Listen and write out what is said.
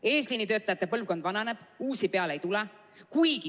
Eesliinitöötajate põlvkond vananeb, uusi peale ei tule.